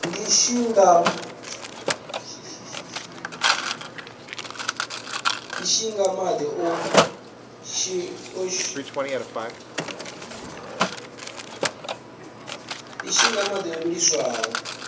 ndishi nga madi o vhiliswaho